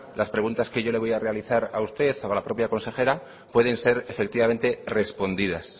las preguntas que yo le voy a realizar a usted o a la propia consejera pueden ser efectivamente respondidas